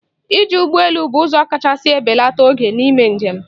Iji ụgbọ elu bụ ụzọ kachasị ebelata oge n'ime njem.